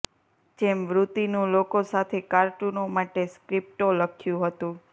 જેમ વૃત્તિનું લોકો સાથે કાર્ટૂનો માટે સ્ક્રિપ્ટો લખ્યું હતું